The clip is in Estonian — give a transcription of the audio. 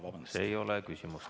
See ei ole küsimus.